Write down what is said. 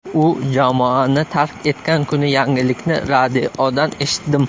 U jamoani tark etgan kuni yangilikni radiodan eshitdim.